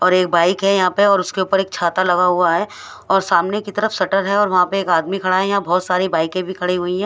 और एक बाइक है यह पर और उसके उपर छाता लगा हुआ है और सामने की तरफ शटर है और वहा पर एक आदमी खडा है यहाँ बोहोत सारी बाइक भी खड़ी हुई है।